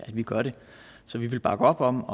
at vi gør det så vi vil bakke op om